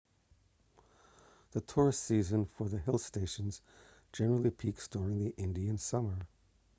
the tourist season for the hill stations generally peaks during the indian summer